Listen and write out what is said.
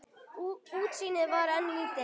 Útsýnið var enn lítið.